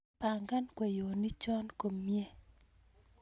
pangan kweyonikcho komnyee